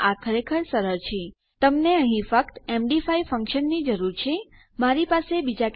અત્યારે ખરેખર તમને એમડી ફંકશનો પર બસ આટલું જ જાણવાની અને કેવી રીતે આને વાપરવું છે અને આને ફોર્મમાં કેવી રીતે લાગુ કરવું એ જાણવાની જરૂર છે